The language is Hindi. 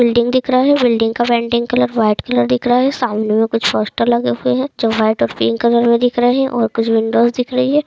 बिल्डिंग दिख रहा है बिल्डिंग का पेंटिंग कलर वाइट कलर दिख रहा है सामने में कुछ पोस्टर्स लगे हुए हैं जो वाइट और पिंक कलर में दिख रहे हैंऔर कुछ विंडोज दिख रही है।